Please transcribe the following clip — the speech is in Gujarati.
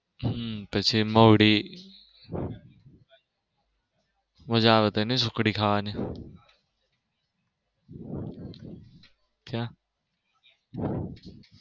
હમ પછી મહુડી મજા આવે નઈ ત્યાં ની સુખડી ખાવાની .